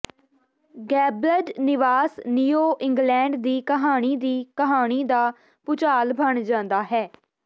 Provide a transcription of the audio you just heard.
gabled ਨਿਵਾਸ New England ਦੀ ਕਹਾਣੀ ਦੀ ਕਹਾਣੀ ਦਾ ਭੂਚਾਲ ਬਣ ਜਾਂਦਾ ਹੈ